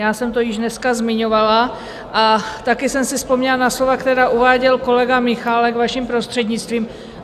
Já jsem to již dneska zmiňovala a také jsem si vzpomněla na slova, která uváděl kolega Michálek, vaším prostřednictvím.